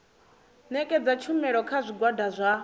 ṋetshedza tshumelo kha zwigwada zwa